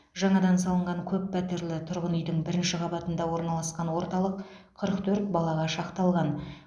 жаңадан салынған көп пәтерлі тұрғын үйдің бірінші қабатында орналасқан орталық қырық төрт балаға шақталған